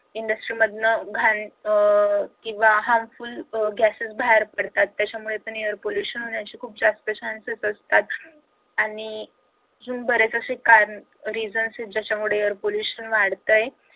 industries मधून घाण अह किंवा harmful gases बाहेर पडतात त्याच्यामुळे air pollution होण्याचे खूप chances असतात आणि बरेच असे कारण reasons आहेत ज्याच्यामुळे air pollution वाढतंय